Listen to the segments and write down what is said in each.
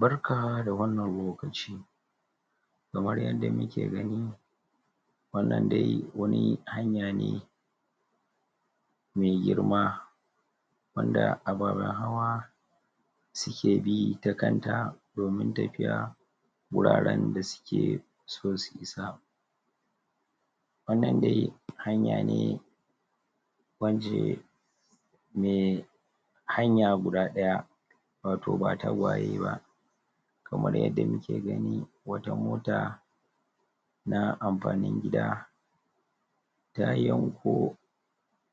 barka da wannan lokaci kamar yanda muke gani wannan dai wani hanya ne me girma wanda ababen hawa suke bi ta kanta domin tafiya guraren da suke so su isa wannan dai hanya ne wacce me hanya guda ɗaya wato ba tagwaye ba kamar yadda muke gani wata mota na amfanin gida ta yanko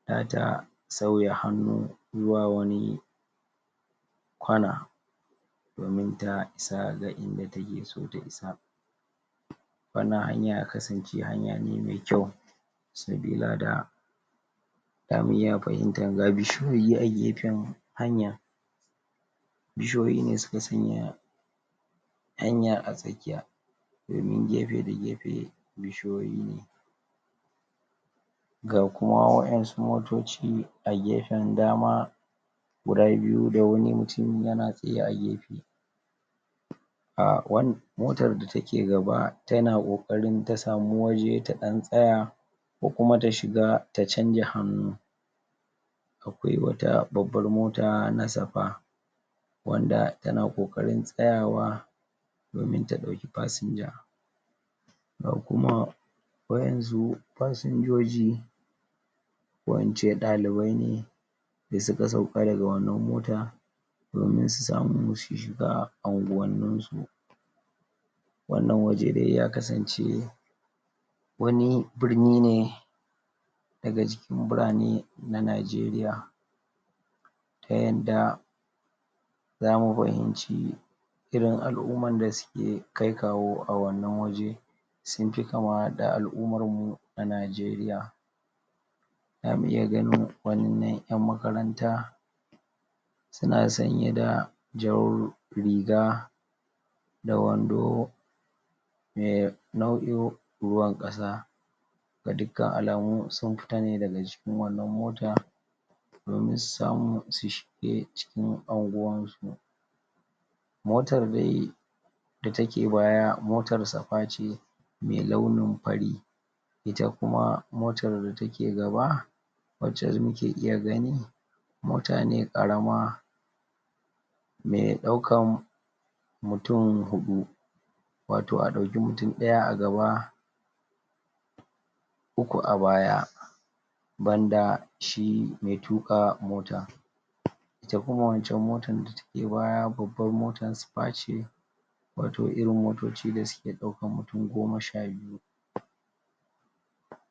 zata sauya hannu zuwa wani kwana domin ta isa ga inda take so ta isa wannan hanya ya kasance hanya ne me kyau sabilada zamu iya fahimtar ga bishiyoyi a gefan hanyar bishiyoyi ne suka sanyaya hanya a tsakiya domin gefe da gefe bishiyoyi ne ga kuma waƴansu motoci a gefen dama guda biyu da wani mutum yana tsaye a gefe a wan motar da take gaba tana ƙoƙarin ta samu waje ta ɗan tsaya ko kuma ta shiga ta canja hannu akwai wata babbar mota na safaa wanda tana ƙoƙarin tsayawa domin ta ɗauki fasinja ga kuma waƴansu fasinjoji ko ince ɗalibai ne da suka sauka daga wannan mota domin su samu su shiga anguwannin su wannan waje dai ya kasan ce wani birni ne daga cikin birane na nigeria ta yanda zamu fahimci irin al'umman da suke kai kawo a wannan waje sunfi kama da al'ummar mu na Nigeria zamu iya ganin wannan ƴan makaranta suna sanye da jar riga da wando me nau'in ruwan ƙasa ga dukkan alamu sun fita ne daga cikin wannan mota domin su samu su shige cikin anguwansu motar dai da take baya motar safaa ce me launin fari ita kuma motar da take gaba wacca muke iya gani mota ne ƙarama me ɗaukan mutum huɗu wato a ɗauki mutum ɗaya a gaba uku a baya banda shi me tuƙa mota ita kuma wancan motan da take baya babban motar safaa ce wato irin motoci da suke ɗaukan mutum goma sha biyu